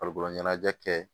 Farikolo ɲɛnajɛ kɛ